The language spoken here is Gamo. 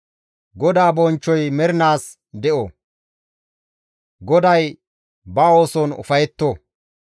GODAA bonchchoy mernaas de7o; GODAY ba ooson ufayetto.